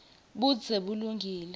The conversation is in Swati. budze bulungile